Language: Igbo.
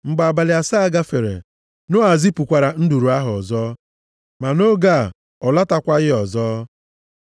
Mgbe abalị asaa gafere, Noa zipụkwara nduru ahụ ọzọ. Ma nʼoge a, ọ lọtakwaghị ọzọ.